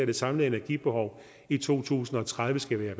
det samlede energibehov i to tusind og tredive skal være